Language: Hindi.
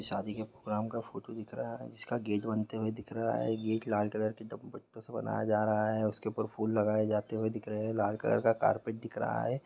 शादी के प्रोग्राम का फोटो दिख रहा है जिसका गेट बनते हुए दिख रहा है गेट लाल कलर की पट पत्तों से बनाया जा रहा उसके ऊपर फूल लगाए जाते हुए दिख रहा है लाल कलर का कार्पेट दिख रहा है।